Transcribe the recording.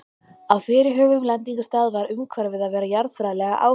Á fyrirhuguðum lendingarstað varð umhverfið að vera jarðfræðilega áhugavert.